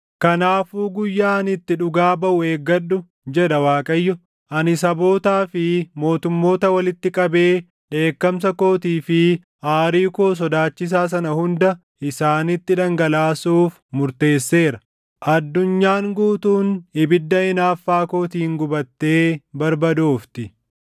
Kanaafuu guyyaa ani itti dhugaa baʼu eeggadhu” jedha Waaqayyo; “Ani sabootaa fi mootummoota walitti qabee dheekkamsa kootii fi aarii koo sodaachisaa sana hunda isaanitti dhangalaasuuf murteesseera. Addunyaan guutuun ibidda hinaaffaa kootiin gubattee barbadoofti.